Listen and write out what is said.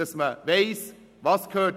Man muss wissen, was wohin gehört.